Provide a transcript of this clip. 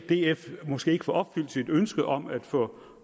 df måske ikke får opfyldt sit ønske om at få